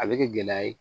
A bɛ kɛ gɛlɛya ye